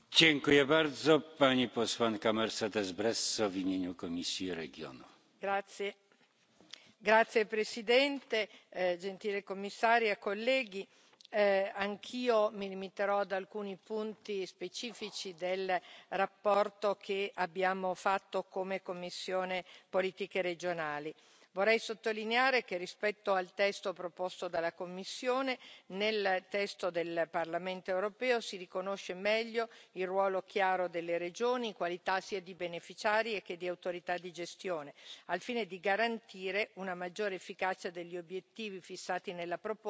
Signor Presidente, onorevoli colleghi, gentile commissaria, anch'io mi limiterò ad alcuni punti specifici della relazione che abbiamo redatto, come commissione per lo sviluppo regionale. Vorrei sottolineare che, rispetto al testo proposto dalla Commissione, nel testo del Parlamento europeo si riconosce meglio il ruolo chiaro delle regioni, in qualità sia di beneficiari sia di autorità di gestione, al fine di garantire una maggiore efficacia degli obiettivi fissati nella proposta e assicurare un adeguato coordinamento fra il FSE